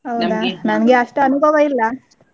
ನನ್ಗೆ ಅಷ್ಟ್ ಅನುಭವ ಇಲ್ಲಾ.